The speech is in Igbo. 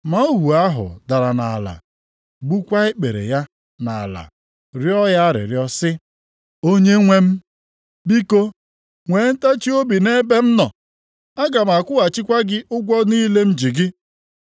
“Ma ohu ahụ dara nʼala, gbukwaa ikpere ya nʼala, rịọ ya arịrịọ sị, ‘Onyenwe m, biko, nwee ntachiobi nʼebe m nọ. Aga m akwụghachikwa gị ụgwọ niile m ji gị.’